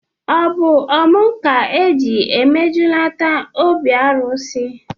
O bu ọmụ ka e ji emejulata obi arụsị?